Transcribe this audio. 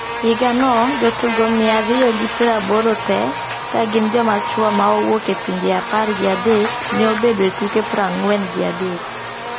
Higa no, jo tugo mia riyo gi pieraboro te ka gin joma chuo ma owuok e pinje apar gi adek ne obedo e tuke prangwen gi adek.